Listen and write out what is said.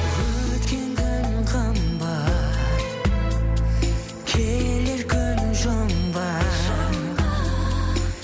өткен күн қымбат келер күн жұмбақ